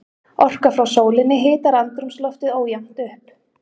Orka frá sólinni hitar andrúmsloftið ójafnt upp.